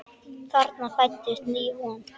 Þarna fæddist ný von.